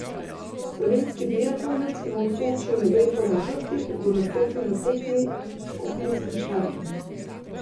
Slovenski biatlonec, ki mu v Sočiju na gre po načrtih, bo nastopil na tekmi s skupinskim štartom.